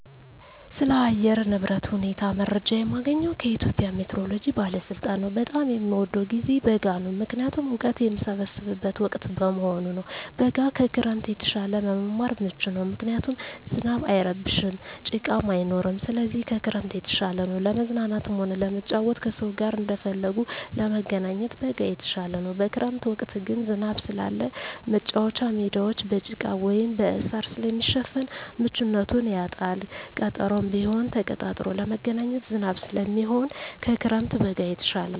ስለ አየር ንብረት ሁኔታ መረጃ የማገኘዉ ከኢትዮጵያ ሜትሮሎጂ ባለስልጣን ነዉ። በጣም የምወደዉ ጊዜ በጋ ነዉ ምክንያቱም እወቀት የምሰበስብበት ወቅት በመሆኑ ነዉ። በጋ ከክረምት የተሻለ ለመማር ምቹ ነዉ ምክንያቱም ዝናብ አይረብሽም ጭቃም አይኖርም ስለዚህ ከክረምት የተሻለ ነዉ። ለመዝናናትም ሆነ ለመጫወት ከሰዉ ጋር እንደፈለጉ ለመገናኘት በጋ የተሻለ ነዉ። በክረምት ወቅት ግን ዝናብ ስላለ መቻወቻ ሜዳወች በጭቃ ወይም በእሳር ስለሚሸፈን ምቹነቱን ያጣል ቀጠሮም ቢሆን ተቀጣጥሮ ለመገናኘት ዝናብ ስለሚሆን ከክረምት በጋ የተሻለ ነዉ።